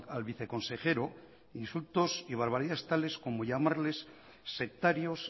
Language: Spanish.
al viceconsejero insultos y barbaridades tales como llamarles sectarios